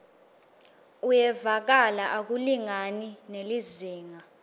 uyevakala akulingani nelizingaa